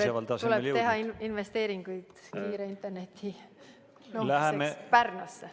See näitab, et tuleb teha investeeringuid kiire interneti jõudmiseks Pärnusse.